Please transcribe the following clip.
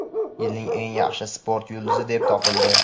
"Yilning eng yaxshi sport yulduzi" deb topildi.